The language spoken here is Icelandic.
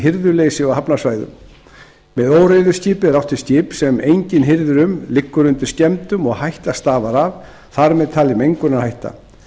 hirðuleysi á hafnarsvæðum með óreiðuskipi er átt við skip sem enginn hirðir um liggur undir skemmdum og hætta stafar af þar með talin mengunarhætta